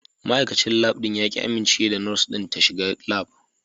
Ma'aikacin Lab ɗin ya ƙi amincewa da Nurse ɗin shiga Lab.